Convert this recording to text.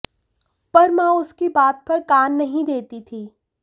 पर मां उसकी बात पर कान नहीं देती थी